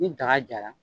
Ni daga jara